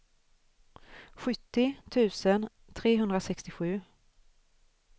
sjuttio tusen trehundrasextiosju